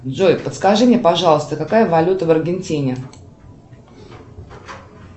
джой подскажи мне пожалуйста какая валюта в аргентине